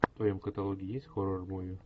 в твоем каталоге есть хоррор муви